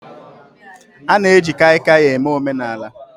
A na-eji Kaikai eme omenaala